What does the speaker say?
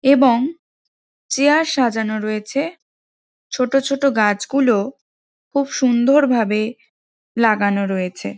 এবং চেয়ার সাজানো রয়েছে | ছোটো ছোটো গাছগুলো খুব সুন্দরভাবে লাগানো রয়েছে ।